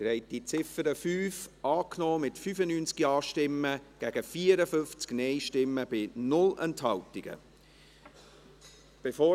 Sie haben die Ziffer 5 mit 95 Ja- gegen 54 Nein-Stimmen bei 0 Enthaltungen angenommen.